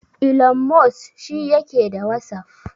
Ilon Mos shi yake da wasaf?